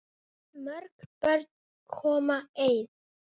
Mörg börn koma ein.